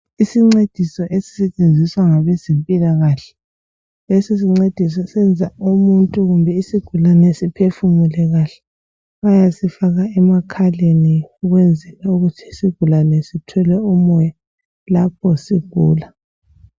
Isincediso esisifundisa ngabezempilakahle ,siyafakwa emakhaleni ukuze sincediswe kuhle lapho sigula isigulane leso ngabezempilakahle.